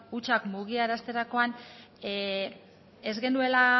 hutsak mugiarazterakoan ez genuela